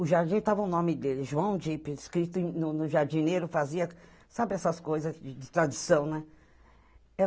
O Jardim, estava o nome dele, João Dipe, escrito no o Jardineiro, fazia, sabe essas coisas de de tradição, né?